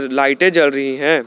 लाइटें जल रही हैं।